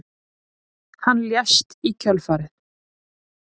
Hann lést í kjölfarið